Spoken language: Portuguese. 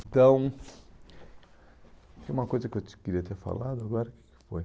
Então, tem uma coisa que eu queria ter falado agora.